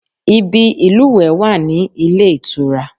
Ibi ìlúwẹ̀ẹ́ wà ní ilé ìtura